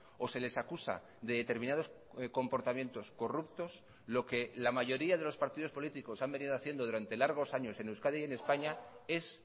o se les acusa de determinados comportamientos corruptos lo que la mayoría de los partidos políticos han venido haciendo durante largos años en euskadi y en españa es